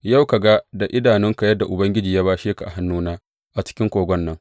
Yau ka ga da idonka yadda Ubangiji ya bashe ka a hannuna a cikin kogon nan.